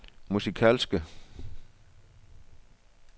musikalske